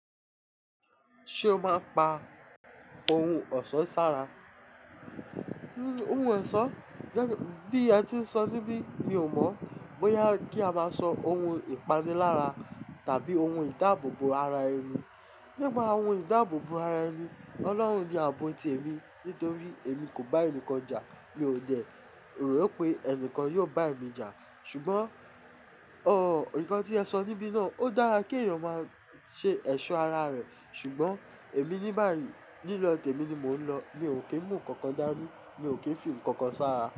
Ṣé o máa ń pa ohun ọ̀ṣọ́ sára? Ohun ọ̀ṣọ́ bí à ti ń sọ níbí mi ò mọ̀ bóyá kí a máa sọ ohun ìpanilára tàbí ohun ìdáàbòbò ara ẹni. Nípa ohun ìdáàbòbò ara ẹni Ọlọ́run ni ààbò tí èmi nítorí èmi kò bá ẹnikẹ́ni jà, mi ò jẹ̀, rò pé ẹnìkan yóò bá èmi jà. Ṣùgbọ́n, o, nǹkan tí ẹ sọ níbí náà ó dára kí èèyàn máa ṣe ẹ̀ṣọ́ ara rẹ̀, ṣùgbọ́n èmi níbààrí, lílọ̀ tẹ̀mi ni mò ń lọ. Mi ò kí ń mú nǹkan dání, mi ò kí ń fì nǹkan sára.